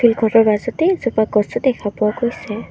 এই এজোপা গছো দেখা পোৱা গৈছে।